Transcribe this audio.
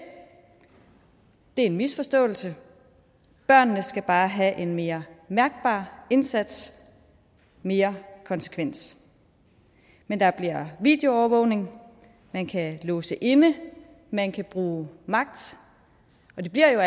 er en misforståelse børnene skal bare have en mere mærkbar indsats mere konsekvens men der bliver videoovervågning man kan låse inde man kan bruge magt og det bliver